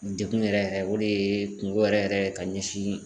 Degun yɛrɛ yɛrɛ o de ye kungo yɛrɛ yɛrɛ ye ka ɲɛsin